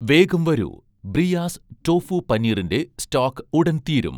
വേഗം വരൂ, 'ബ്രിയാസ്' ടോഫു പനീറിൻ്റെ സ്റ്റോക് ഉടൻ തീരും